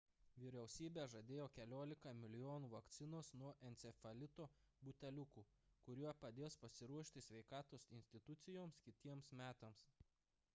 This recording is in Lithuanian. vyriausybė žadėjo keliolika milijonų vakcinos nuo encefalito buteliukų kurie padės pasiruošti sveikatos institucijoms kitiems metams